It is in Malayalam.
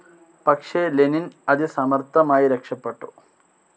പക്ഷെ ലെനിൻ അതി സമർഥമായി രക്ഷപെട്ടു.